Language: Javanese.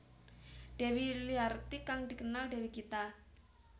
Dewi Yuliarti kang dikenal Dewi Gita